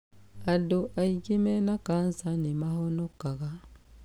Andũ aingĩ mena cancer nĩ mahonokaga.